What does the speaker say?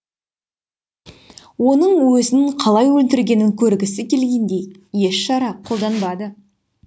оның өзін қалай өлтіргенін көргісі келгендей еш шара қолданбады